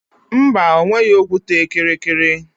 Mba, o nweghị okwute kịrịkịrị